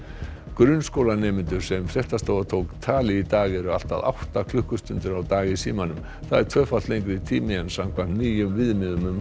grunnskólanemendur sem fréttastofa tók tali í dag eru allt að átta klukkustundir á dag í símanum það er tvöfalt lengri tími en ný viðmið um